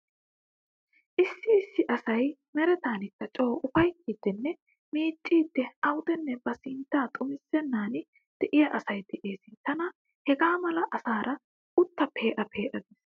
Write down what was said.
Issi issi asay meretakka coo uffayttiiddinne miicciiddi awudenne ba sinttaa xumissenan diya asay dees. Tana hegaa mala asaara utta pe'a pee'a gees.